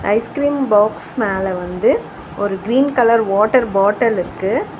Ice cream மேல வந்து ஒரு கிரீன் கலர் வாட்டர் பாட்டில் இருக்கு.